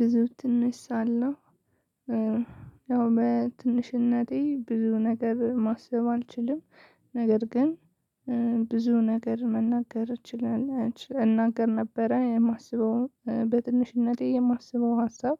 ብዙ ትንሽ ሳለሁ እ ያው በትንሽነቴ ብዙ ነገር ማሰብ አልችልም። ነገር ግን እ ብዙ ነገር መናገር እችል እ እናገር ነበረ የማስበው በትንሽነቴ የማስበው ሀሳብ